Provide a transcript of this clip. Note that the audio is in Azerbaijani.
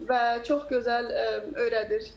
Və çox gözəl öyrədir.